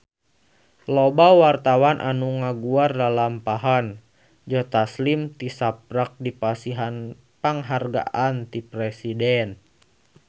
Loba wartawan anu ngaguar lalampahan Joe Taslim tisaprak dipasihan panghargaan ti Presiden